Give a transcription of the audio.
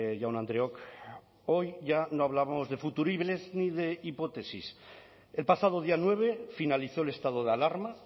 jaun andreok hoy ya no hablamos de futuribles ni de hipótesis el pasado día nueve finalizó el estado de alarma